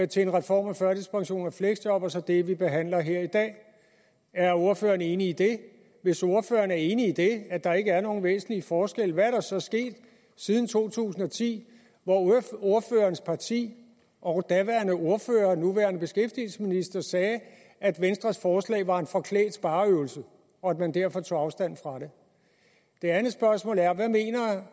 til en reform af førtidspension og fleksjob og så det vi behandler her i dag er ordføreren enig i det hvis ordføreren er enig i det at der ikke er nogen væsentlige forskelle hvad der er så sket siden to tusind og ti hvor ordførerens parti og daværende ordfører nuværende beskæftigelsesminister sagde at venstres forslag var en forklædt spareøvelse og at man derfor tog afstand fra det det andet spørgsmål er